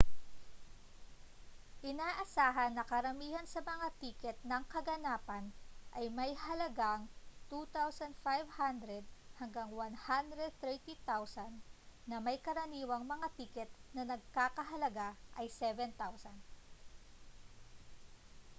inaasahan na karamihan sa mga tiket ng kaganapan ay may halagang â¥2,500 hanggang â¥130,000 na may karaniwang mga tiket na nagkakahalaga ng â¥7,000